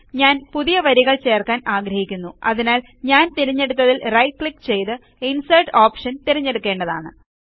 ഞാൻ പുതിയ വരികൾ ചേർക്കാൻ ആഗ്രഹിക്കുന്നുഅതിനാൽ ഞാൻ തിരഞ്ഞെടുത്തതിൽ റൈറ്റ് ക്ലിക്ക് ചെയ്ത് ഇൻസേർട്ട് ഓപ്ഷൻ തിരഞ്ഞെടുക്കേണ്ടതാണ്